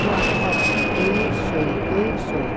Oğlan hər dəfə döyüb, söyüb, döyüb, söyüb.